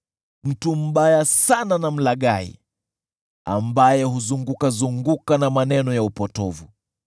Mtu mbaya sana na mlaghai, ambaye huzungukazunguka na maneno ya upotovu,